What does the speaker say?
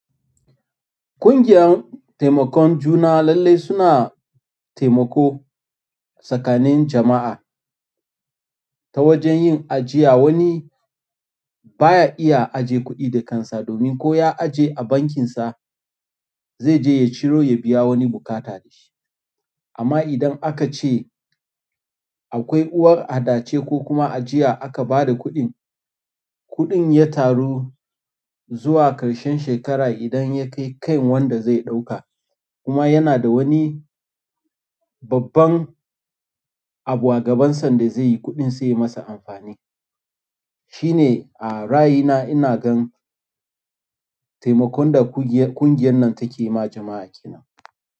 Ƙungiyan taimakon juna lallai suna taimako tsakanin jama'a ta wajen yin ajiya. Wani baya iya ajiye kuɗi da kansa domin ko ya ajiye a bankinsa zai je ya ciro ya biya wani bukata da shi. Amma idan aka ce akwai uwar adace ko kuma ajiya aka ba da kuɗin, kuɗin ya taru zuwa ƙarshen shekara idan ya kai kan wanda zai ɗauka kuma yana da wani babban abu a gabansa da zai yi kuɗin sai masa amfani. Shine a ra'ayi na ina gan taimakon da ƙungiya ƙungiyar nan take ma jama'a kenan.